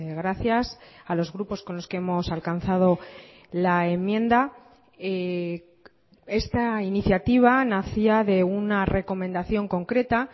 gracias a los grupos con los que hemos alcanzado la enmienda esta iniciativa nacía de una recomendación concreta